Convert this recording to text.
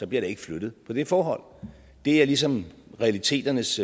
bliver der ikke flyttet på det forhold det er ligesom realiteternes